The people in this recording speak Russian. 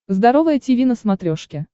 здоровое тиви на смотрешке